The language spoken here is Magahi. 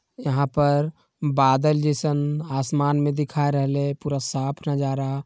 यहाँ पर बादल जैसन आसमान में देखाई रहले है पूरा साफ नजारा।